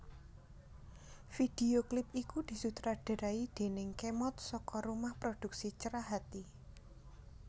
Video klip iku disutradarai déning Khemod saka rumah produksi Cerahati